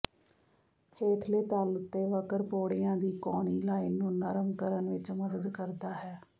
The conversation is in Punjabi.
ਹੇਠਲੇ ਤਲ ਉੱਤੇ ਵਕਰ ਪੌੜੀਆਂ ਦੀ ਕੋਣੀ ਲਾਈਨ ਨੂੰ ਨਰਮ ਕਰਨ ਵਿੱਚ ਮਦਦ ਕਰਦਾ ਹੈ